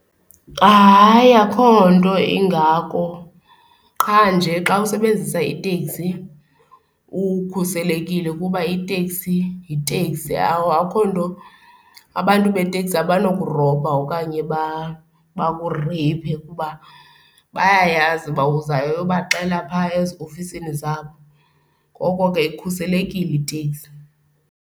Hayi, akho nto ingako, qha nje xa usebenzisa iteksi ukhuselekile, kuba iteksi yiteksi. Akho nto abantu beteksi abanokurobha okanye bakureyiphe kuba bayayazi uba uzayobaxela phaa eziofisini zabo. Ngoko ke ikhuselekile iteksi.